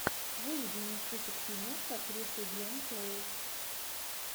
выведи мне список фильмов с актрисой гленн клоуз